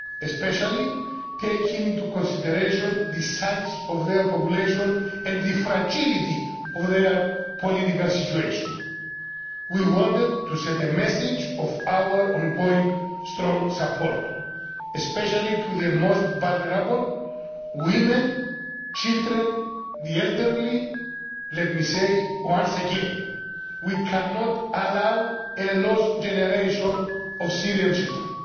especially taking into consideration the size of their population and the fragility of their political situation. We wanted to send a message of our ongoing strong support, especially to the most vulnerable women, children, the elderly. Let me say once again we cannot allow a lost generation of Syrian children.